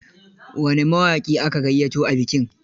Wane mawaƙi aka gayyato a bikin?